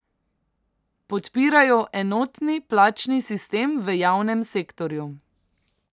Podpirajo enotni plačni sistem v javnem sektorju.